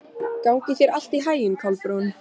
Gangi þér allt í haginn, Kolbrún.